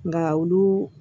Nka olu